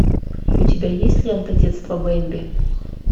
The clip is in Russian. у тебя есть лента детство бемби